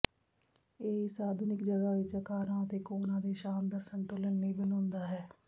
ਇਹ ਇਸ ਆਧੁਨਿਕ ਜਗ੍ਹਾ ਵਿੱਚ ਆਕਾਰਾਂ ਅਤੇ ਕੋਣਾਂ ਦੇ ਸ਼ਾਨਦਾਰ ਸੰਤੁਲਨ ਲਈ ਬਣਾਉਂਦਾ ਹੈ